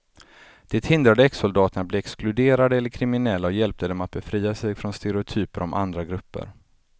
Det hindrade exsoldaterna att bli exkluderade eller kriminella och hjälpte dem att befria sig från stereotyper om andra grupper.